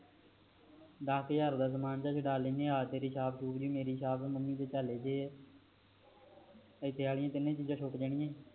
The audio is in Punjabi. ਦਾਸ ਕ ਹਜਾਰ ਦਾ ਸਮਾਂ ਤਾ ਛੁਡਾ ਲੈਣੇ ਆ ਤੇਰੀ ਛਾਪ ਛੁਪ ਮੇਰੀ ਛਾਪ ਮੰਮੀ ਦੀ ਏਦੇ ਨਾਲ ਤਿੰਨੇ ਚੀਜ ਛੁਟ ਜਾਣਗੀਆਂ